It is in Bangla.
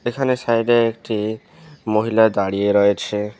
এখানে সাইড -এ একটি মহিলা দাঁড়িয়ে রয়েছে।